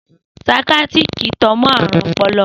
Saikíátíri tan mọ́ ààrùn ọpọlọ